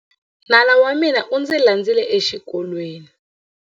Nala wa mina u ndzi landzile exikolweni.